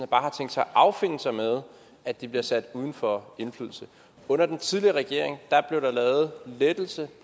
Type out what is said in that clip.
bare har tænkt sig at affinde sig med at de bliver sat uden for indflydelse under den tidligere regering blev der lavet lettelse